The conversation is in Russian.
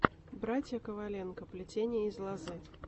братья коваленко плетение из лозы